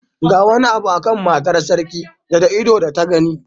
Ga wani abu a kan matar sarki da da ido da ta gani.